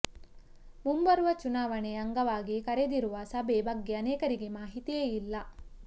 ಮುಂಬರುವ ಚುನಾವಣೆ ಅಂಗವಾಗಿ ಕರೆದಿರುವ ಸಭೆ ಬಗ್ಗೆ ಅನೇಕರಿಗೆ ಮಾಹಿತಿಯೇ ಇಲ್ಲ